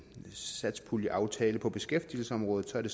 satspuljeaftale på beskæftigelsesområdet er det